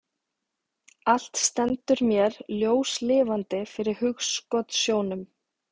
Allt stendur mér ljóslifandi fyrir hugskotssjónum.